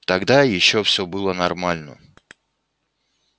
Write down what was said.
тогда ещё всё было нормально